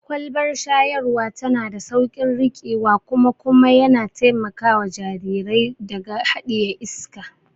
Kwalbar shayarwa tana da sauƙin riƙewa kuma kuma yana taimakawa jarirai daga haɗiye iska.